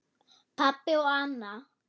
Pabbi og Anna.